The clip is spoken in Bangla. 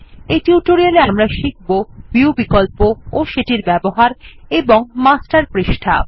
এই টিউটোরিয়ালে আমরা শিখব160 ভিউ বিকল্প ও সেটির ব্যবহার এবং মাস্টার পৃষ্ঠা